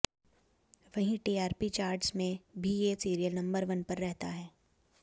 वहीं TRP charts में भी ये सीरियल नंबर वन पर रहता है